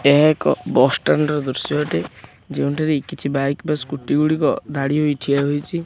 ଏହା ଏକ bus stand ର ଦୃଶ୍ୟ ଅଟେ ଯେଉଁଠାରେ କିଛି ବାଇକ ବା ସ୍କୁଟି ଗୁଡ଼ିକ ଧାଡ଼ି ହୋଇ ଠିଆ ହୋଇଚି।